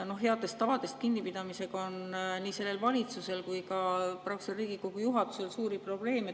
Headest tavadest kinnipidamisega on nii sellel valitsusel kui ka Riigikogu juhatusel suuri probleeme.